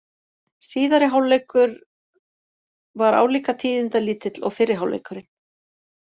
Síðari hálfleikur var álíka tíðindalítill og fyrri hálfleikurinn.